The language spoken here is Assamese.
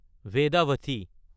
বেদাৱতী